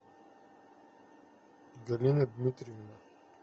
галина дмитриевна